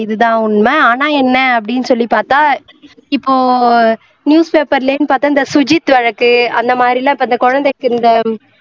இது தான் உண்மை ஆனா என்ன அப்படின்னு சொல்லி பார்த்தா இப்போ newspaper ல இருந்து பார்த்தா இந்த சுஜித் வழக்கு அந்த மாதிரி எல்லாம் இந்த குழந்தை